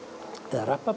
eða